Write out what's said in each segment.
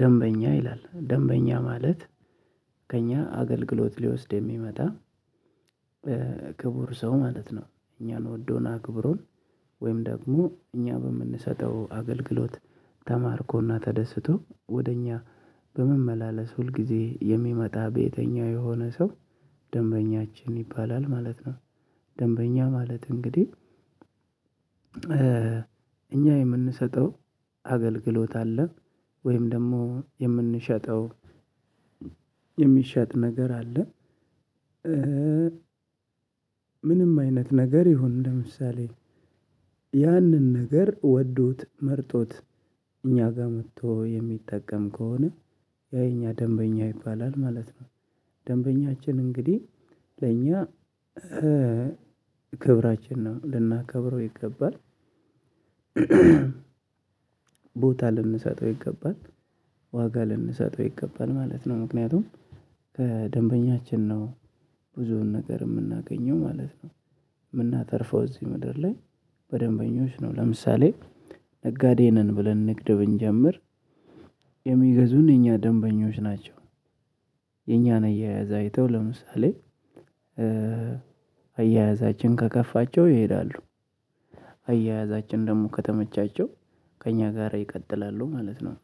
ደንበኛ ይላል ደንበኛ ማለት ከእኛ አገልግሎት ሊወስድ የሚመጣ። ክቡር ሰው ማለት ነው እኛን ወዶን ክቡሮን ወይም ደግሞ እኛ በምንሰጠው አገልግሎት ተማርኮና ተደስቶ ወደ እኛ በመመላለስ ሁልጊዜ የሚመጣ በየተኛው የሆነ ሰው ደንበኛችን ይባላል ማለት ነው። ደንበኛ ማለት እንግዲህ እኛ የምንሰጠው አገልግሎት አለን ወይም ደግሞ የምንሸጠው የሚሸጥ ነገር አለ። ምንም አይነት ነገር ይሁን ለምሳሌ ያንን ነገር ወዶት መርጦት እኛ ጋር መጥቶ የሚጠቀም ከሆነ ያ እኛ ደንበኛ ይባላል ማለት ነው። ደንበኛችን እንግዲህ ለእኛ ክብራችን ነው ልናከብረው ይገባል። ቦታ ልንሰጠው ይገባል ዋጋ ልንሰጠው ይገባን ማለት ነው። ምክንያቱም ከደንበኛችን ነው ብዙውን ነገር የምናገኘው ማለት ነው። የምናተርፈው እዚህ ምድር ላይ በደንበኞች ነው። ለምሳሌ ነጋዴ ነን ብለን ንግድ ብንጀምር የሚገዙን የኛ ደንበኞች ናቸው። የኛን አያያዛ አይተው ለምሳሌ አያያዛችን ከከፋቸው ይሄዳሉ አያያዛችን ደግሞ ከተመቻቸው ከእኛ ጋር ይቀጥላሉ ማለት ነው።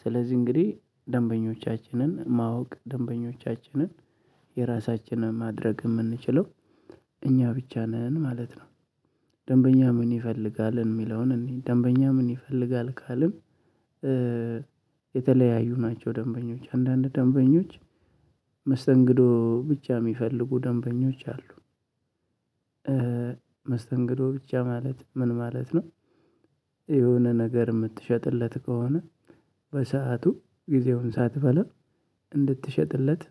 ስለዚህ እንግዲህ ደንበኞቻችንን ማወቅ ደንበኞቻችንን የራሳችንን ማድረግ የምንችለው እኛ ብቻ ነን ማለት ነው። ደንበኛ ምን ይፈልጋልን የሚለውን እንይ ደንበኛ ምን ይፈልጋል ካልን? የተለያዩ ናቸው ደንበኞች አንዳንድ ደንበኞች መስተንግዶ ብቻ የሚፈልጉ ደንበኞች አሉ። መስተንግዶ ብቻ ማለት ምን ማለት ነው? የሆነ ነገር የምትሸጥለት ከሆነ በሰአቱ ጊዜውን ሳትበላ እንድትሸጥለት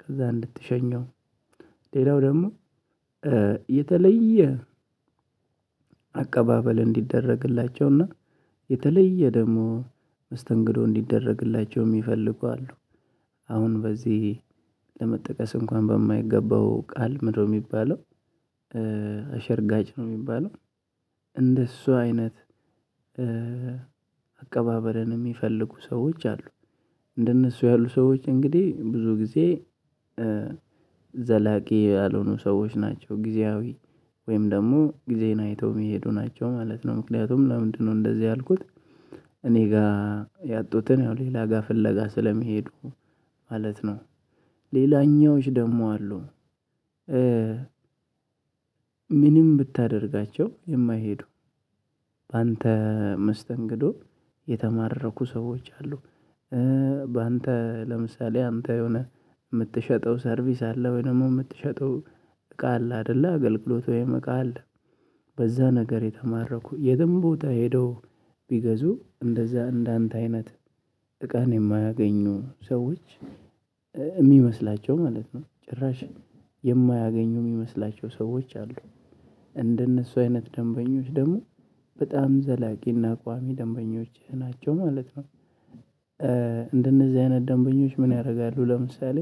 ከዛ እንድትሸኘው ሌላው ደግሞ የተለየ አቀባበል እንዲደረግላቸውና የተለየ ደግሞ መስተንግዶ እንዲደረግላቸው የሚፈልጉ አሉ። አሁን በዚህ ለመጠቀስ እንኳን በማይገባው ቃል ምንድነው የሚባለው? አሸርጋጭ ነው የሚባለው። እንደሱ አይነት አቀባበልን የሚፈልጉ ሰዎች አሉ። እንደነሱ ያሉ ሰዎች እንግዲህ ብዙ ጊዜ ዘላቂ ያልሆኑ ሰዎች ናቸው ጊዜያዊ ወይም ደግሞ ጊዜን አይተው መሄዱ ናቸው ማለት ነው። ምክንያቱም ለምንድነው እንደዚህ ያልኩት? እኔ ጋር ያጡትን ያው ሌላ ጋር ፍለጋ ስለሚሄዱ ማለት ነው። ሌላኛዎች ደግሞ አሉ። ምንም ብታደርጋቸው የማይሄዱ በአንተ መስተንግዶ የተማረኩ ሰዎች አሉ። ባንተ ለምሳሌ አንተ የሆነ የምትሸጠው ሰርቪስ አለ ወይ ደግሞ የምትሸጠው እቃ አለ አይደለ አገልግሎት ወይም እቃ አለ። በዛ ነገር የተማረኩ የትም ቦታ ሄደው ቢገዙ እንደዛ እንዳንተ አይነት እቃን የማያገኙ ሰዎች የሚመስላቸው ማለት ነው። ጭራሽ የማያገኙ የሚመስላቸው ሰዎች አሉ። እንደነሱ አይነት ደንበኞች ደግሞ በጣም ዘላቂና ቋሚ ደንበኞች ናቸው ማለት ነው። እንደነዚህ አይነት ደንበኞች ምን ያደርጋሉ? ለምሳሌ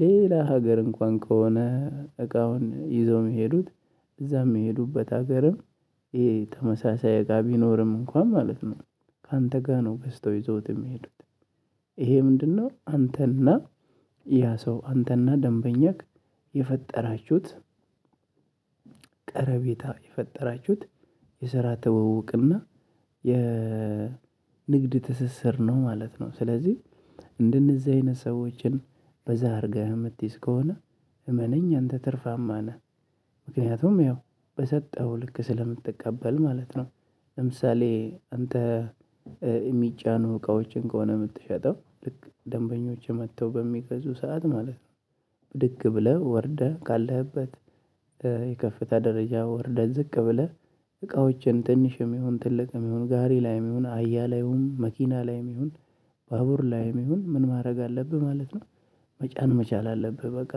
ሌላ ሀገር እንኳን ከሆነ እቃውን ይዞ የሚሄዱት እዛም የሚሄዱበት ሀገርም ይሄ ተመሳሳይ እቃ ቢኖርም እንኳን ማለት ነው። ካንተ ጋር ነው በዝተው ይዘውት የሚሄዱት። ይሄ ምንድነው? አንተና ያ ሰው አንተና ደንበኛህ የፈጠራችሁት ቀረቤታ የፈጠራችሁት የሰራ ተወውቅና የ ንግድ ትስስር ነው ማለት ነው። ስለዚህ እንደነዚህ አይነት ሰዎችን በዛ አድርገህ የምትይዝ ከሆነ እመነኝ አንተ ትርፋማ ነህ። ምክንያቱም ያው በሰጠኸው ልክ ስለምትቀበል ማለት ነው። ለምሳሌ አንተ የሚጫኑ እቃዎችን ከሆነ የምትሸጠው ልክ ደንበኞች መጥተው በሚገዙ ሰዓት ማለት ነው። ብድግ ብለህ ወርደህ ካለህበት የከፍተኛ ደረጃ ወርደህ ዝቅ ብለህ እቃዎችን ትንሽ የሚሁን ትልቅ የሚሁን ጋሪ ላይ የሚሁን አያ ላይሁን መኪና ላይ የሚሁን ባቡር ላይም ይሁን ምን ማድረግ አለብህ ማለት ነው። መጫን መቻል አለብህ። በቃ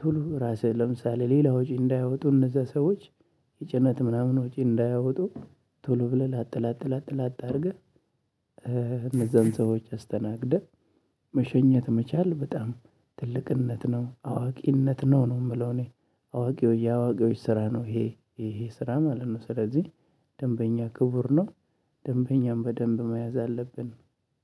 ቶሎ ራስህ ለምሳሌ ሌላ ወጪ እንዳያወጡ እነዛ ሰዎች የጭነት ምናምን ወጪ እንዳያወጡ ቶሎ ብለህ ላጥላጥላጥላጥ አድርገህ እነዛን ሰዎች አስተናግደህ መሸኘት መቻል በጣም ትልቅነት ነው አዋቂነት ነው። ነው የምለው እኔ አዋቂው የአዋቂዎች ስራ ነው ይሄ ይሄ ስራ ማለት ነው። ስለዚህ ደንበኛ ክቡር ነው። ደንበኛም በደንብ መያዝ አለብን።